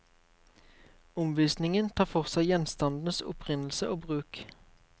Omvisningen tar for seg gjenstandenes opprinnelse og bruk.